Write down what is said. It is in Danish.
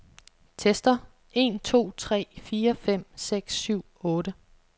Tester en to tre fire fem seks syv otte.